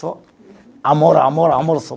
Só amor, amor, amor só.